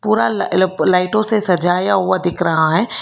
पूरा लाइटों से सजाया हुआ दिख रहा है।